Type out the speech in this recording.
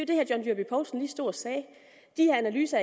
det herre john dyrby paulsen lige stod og sagde at de analyser